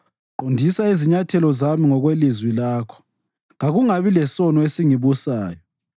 Qondisa izinyathelo zami ngokwelizwi lakho; kakungabi lesono esingibusayo.